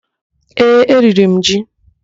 Ee, eriri m ji.